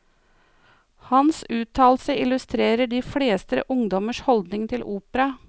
Hans uttalelse illustrerer de fleste ungdommers holdning til opera.